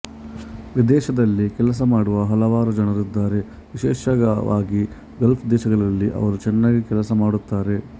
ವಿದೇಶದಲ್ಲಿ ಕೆಲಸ ಮಾಡವ ಹಲವಾರು ಜನರು ಇದ್ದಾರೆ ವಿಶೇಷವಾಗಿ ಗಲ್ಫ್ ದೇಶಗಳಲ್ಲಿ ಅವರು ಚೆನ್ನಾಗಿ ಕೆಲಸ ಮಾಡುತ್ತಾರೆ